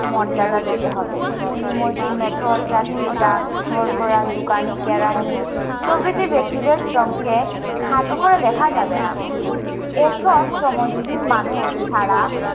মর্যাদা দিতে হবে। কুলি, মজুর, মেথর, চাষি, ডাক হরকরা, দোকানি, কেরানি প্রভৃতি ব্যক্তিদের শ্রমকে খাটো করে দেখা যাবে না। এসব শ্রমজীবী মানুষ ছাড়া